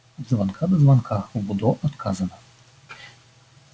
от звонка до звонка в удо отказано